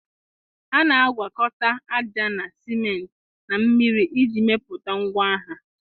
A na-agwakọta ájá na sịment na mmiri iji mepụta ngwa agha